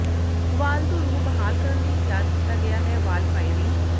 ਵਾਲ ਧੁਰ ਨੂੰ ਬਹਾਲ ਕਰਨ ਲਈ ਤਿਆਰ ਕੀਤਾ ਗਿਆ ਹੈ ਵਾਲ ਫਾਇਰਿੰਗ